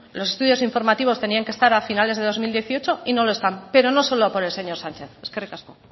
los estudios informativos tenían que estar a finales de dos mil dieciocho y no lo están pero no solo por el señor sánchez eskerrik asko